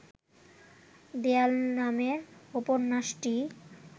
দেয়াল নামের উপন্যাসটি